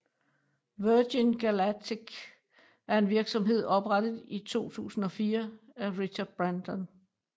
Virgin Galactic er en virksomhed oprettet i 2004 af Richard Branson